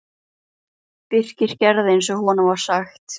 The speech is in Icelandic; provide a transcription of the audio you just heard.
Birkir gerði eins og honum var sagt.